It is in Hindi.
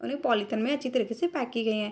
और ये पॉलिथीन में अच्छी तरीके से पैक की गई है।